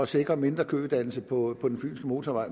sikre mindre kødannelse på den fynske motorvej